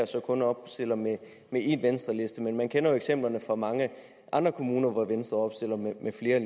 så kun opstiller med én venstreliste men man kender jo eksemplerne fra mange andre kommuner hvor venstre opstiller med flere